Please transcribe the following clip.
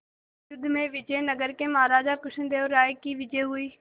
इस युद्ध में विजय नगर के महाराज कृष्णदेव राय की विजय हुई